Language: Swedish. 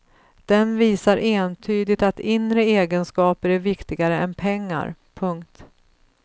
Den visar entydigt att inre egenskaper är viktigare än pengar. punkt